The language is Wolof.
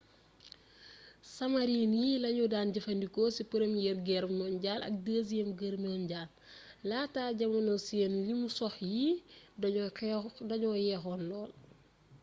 sumarin yi lañu daan jëfandikoo ci përmiyeer geer monjaal ak dësiyeem geer monjaal laata jamono seen limi sox yi dañoo yeexoon lool